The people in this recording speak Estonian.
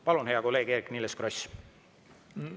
Palun, hea kolleeg Eerik-Niiles Kross!